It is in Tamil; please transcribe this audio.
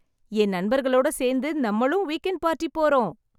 என் நண்பர்களோட சேர்ந்து நம்மளும் வீக்கெண்டு பார்ட்டி போறோம்.